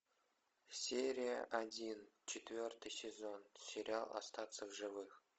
серия один четвертый сезон сериал остаться в живых